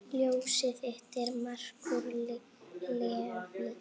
Ljósið þitt, Markús Leví.